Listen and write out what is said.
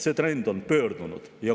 See trend on pöördunud.